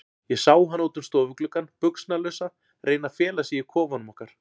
Ég sá hana út um stofugluggann, buxnalausa, reyna að fela sig í kofanum okkar.